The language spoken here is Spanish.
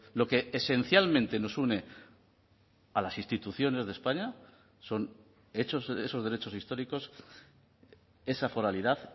lo que esencialmente nos une a las instituciones de españa son esos derechos históricos esa foralidad